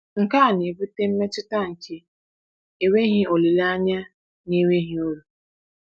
Nke a na-ebute mmetụta nke enweghị olileanya na enweghị uru.